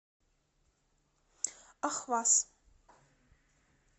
ахваз